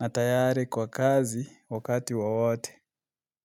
na tayari kwa kazi wakati wowote.